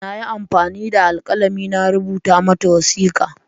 Na yi amfani da alkalami na rubuta mata wasiƙa.